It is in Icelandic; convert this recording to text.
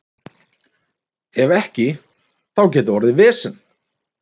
Ef ekki, þá gæti orðið vesen.